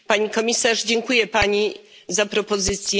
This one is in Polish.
Pani komisarz, dziękuję pani za propozycję.